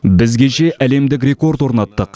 біз кеше әлемдік рекорд орнаттық